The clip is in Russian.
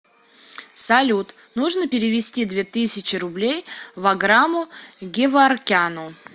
салют нужно перевести две тысячи рублей ваграму геворкяну